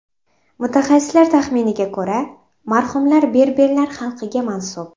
Mutaxassislar taxminiga ko‘ra, marhumlar berberlar xalqiga mansub.